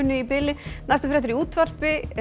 í bili næstu fréttir í útvarpi